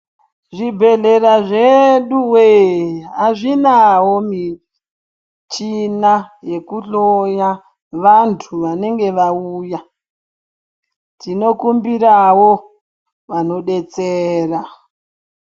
Zvibhedhlera zvedu we azvinawo michina yekuhloya vantu vanenge vauya. Tinokumbirawo vanodetsera.